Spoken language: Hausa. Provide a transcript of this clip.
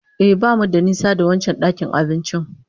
Ehh, bamu da nisa da wancan dakin abincin